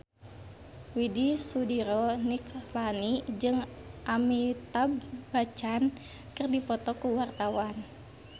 Widy Soediro Nichlany jeung Amitabh Bachchan keur dipoto ku wartawan